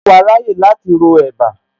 Ṣé wàá ráyè láti ro ẹ̀bá